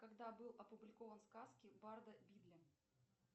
когда был опубликован сказки барда бидля